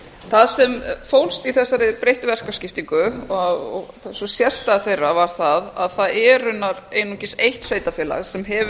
það sem fólst í þessari breyttu verkaskiptingu og sú sérstaða þeirra var það að það er einungis eitt sveitarfélag sem hefur verið